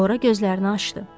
Sonra gözlərini açdı.